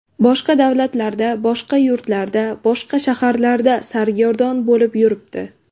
Boshqa davlatlarda, boshqa yurtlarda, boshqa shaharlarda sargardon bo‘lib yuribdi.